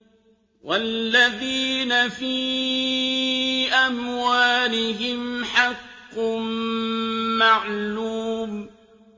وَالَّذِينَ فِي أَمْوَالِهِمْ حَقٌّ مَّعْلُومٌ